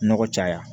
Nɔgɔ caya